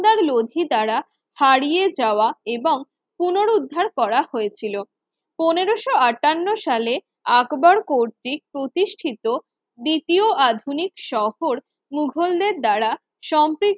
লোধি দ্বারা হারিয়ে যাওয়া এবং পুনরুদ্ধার করা হয়েছিল পনেরোশো আঠান্ন সালে আকবর কর্তৃক প্রতিষ্ঠিত দ্বিতীয় আধুনিক শহর মুঘলদের দ্বারা সম্পি